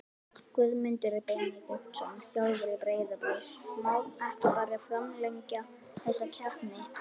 Guðmundur Benediktsson, þjálfari Breiðabliks Má ekki bara framlengja þessa keppni?